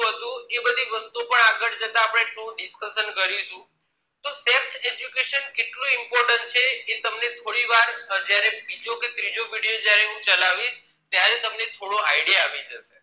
શું હતું એ બધી વસ્તુઓ પણ આગળ જતા પણ આપણે થોડું dicusstion કરીશું તો fect education કેટલું important એ તમને થોડી વાર જયારે બીજો કે ત્રીજો period ચલાવીશ એ તમને થોડો idea આવી જશે